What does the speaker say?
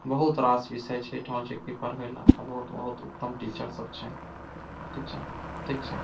बहुत रास विषय छै एठामा जे की पढ़वे ले बहुत-बहुत उत्तम टीचर सब छै ठीक छा ठीक छा।